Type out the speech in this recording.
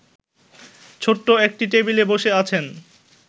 ছোট্ট একটি টেবিলে বসে আছেন